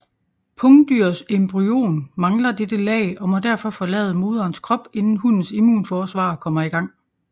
Pungdyrs embryon mangler dette lag og må derfor forlade moderens krop inden hunnens immunforsvar kommer i gang